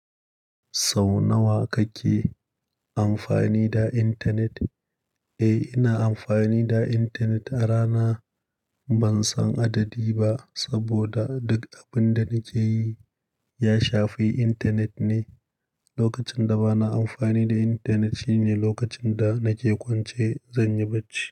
Sau nawa kake amfani da intanet? Eh, ina amfani da intanet a rana ban san adadi ba, saboda duk abin da nake yi ya shafi intanet ne. Lokacin da bana amfani da intanet shine lokacin da nake kwance zan yi bacci.